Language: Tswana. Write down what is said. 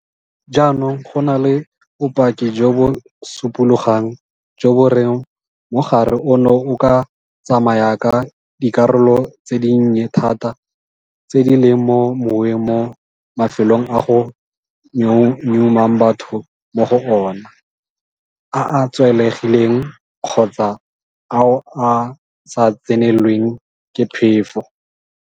Jaanong go na le bopaki jo bo supologang jo bo reng mogare ono o ka tsamaya ka dikarolo tse dinnye thata tse di leng mo moweng mo mafelong a go nyeumang batho mo go ona, a a tswalegileng kgotsa ao a sa tsenelweng ke phefo.